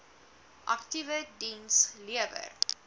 aktiewe diens lewer